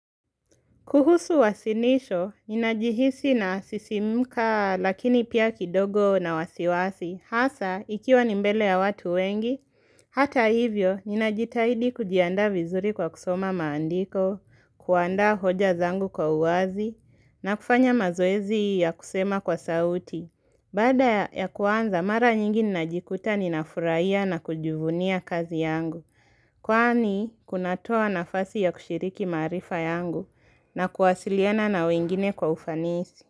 Kuhusu wasinisho, ninajihisi na sisimuka lakini pia kidogo na wasiwasi, hasa ikiwa nimbele ya watu wengi, hata hivyo, ninajitahidi kujianda vizuri kwa kusoma maandiko, kuanda hoja zangu kwa uazi, na kufanya mazoezi ya kusema kwa sauti. Bada ya kuanza, mara nyingi najikuta ninafurahia na kujuvunia kazi yangu. Kwani, kunatoa nafasi ya kushiriki marifa yangu na kuwasiliana na wengine kwa ufanisi.